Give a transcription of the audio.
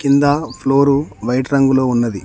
కింద floor white రంగులో ఉన్నది.